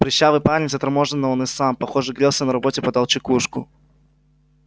прыщавый парень заторможенно он и сам похоже грелся на работе подал чекушку